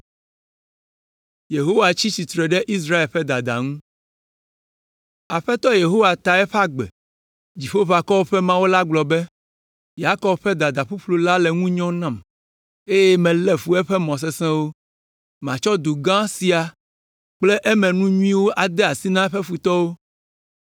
Aƒetɔ Yehowa ta eƒe agbe. Dziƒoʋakɔwo ƒe Mawu la gblɔ be, “Yakob ƒe dada ƒuƒlu la le ŋu nyɔm nam, eye melé fu eƒe mɔ sesẽwo. Matsɔ du gã sia kple emenu nyuiwo ade asi na eƒe futɔwo.”